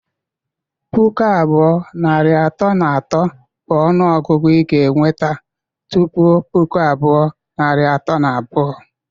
Pụkụ abụọ, narị atọ na otu bụ ọnụ ọgụgụ ị ga-enweta tụpụ puku abụọ, narị atọ na abụọ